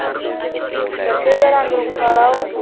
ਤਦੇ ਉਹ ਰੰਗ ਰੁੰਗ ਕਲਾ ਏ।